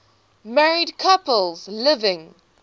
married couples living